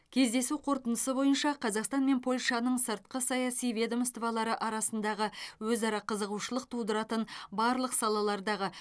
кездесу қорытындысы бойынша қазақстан мен польшаның сыртқы саяси ведомстволары арасындағы өзара қызығушылық тудыратын барлық салалардағы